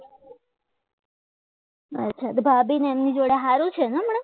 ભાભી ને એમની જોડે સારું છે ને હમણાં